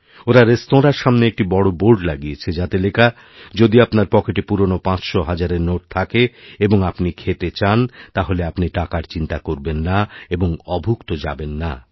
ওঁরারেস্তোরাঁর সামনে একটি বড় বোর্ড লাগিয়েছেন যাতে লেখা যদি আপনার পকেটে পুরনোপাঁচশোহাজারের নোট থাকে এবং আপনি খেতে চান তাহলে আপনি টাকার চিন্তা করবেন না এবংঅভুক্ত যাবেন না